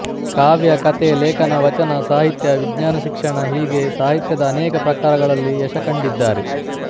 ಕಾವ್ಯ ಕಥೆ ಲೇಖನ ವಚನ ಸಾಹಿತ್ಯ ವಿಜ್ಞಾನ ಶಿಕ್ಷಣ ಹೀಗೆ ಸಾಹಿತ್ಯದ ಅನೇಕ ಪ್ರಕಾರಗಳಲ್ಲಿ ಯಶಕಂಡಿದ್ದಾರೆ